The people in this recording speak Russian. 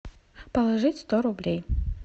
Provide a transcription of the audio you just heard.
положить сто рублей